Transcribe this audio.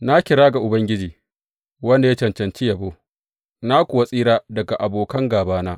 Na kira ga Ubangiji, wanda ya cancanci yabo, na kuwa tsira daga abokan gābana.